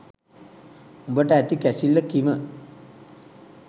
උඹට ඇති කැසිල්ල කිම